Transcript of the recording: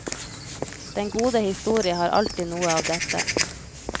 Den gode historie har alltid noe av dette.